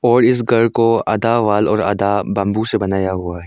और इस घर को आधा वॉल और आधा बंबू से बनाया हुआ है।